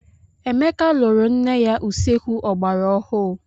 Emeka lụrụ ńne ya usekwu ogbara ọhụụ.